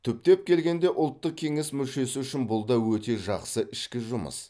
түптеп келгенде ұлттық кеңес мүшесі үшін бұл да өте жақсы ішкі жұмыс